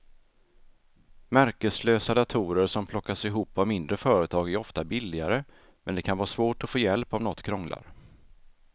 Märkeslösa datorer som plockas ihop av mindre företag är ofta billigare men det kan vara svårt att få hjälp om något krånglar.